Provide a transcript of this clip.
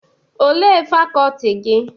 Olee fakọltị gị?